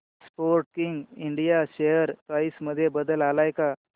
Sportking India share price मध्ये बदल आलाय का